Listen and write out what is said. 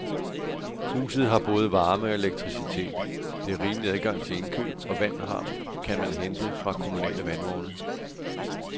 Huset har både varme og elektricitet, der er rimelig adgang til indkøb, og vand kan man hente fra kommunale vandvogne.